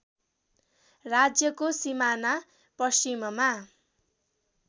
राज्यको सिमाना पश्चिममा